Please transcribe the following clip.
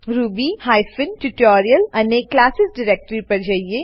Ruby hyphen tutorial અને classes directory પર જઈએ